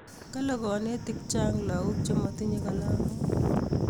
kale kanetik chang lakok che matinye kalamok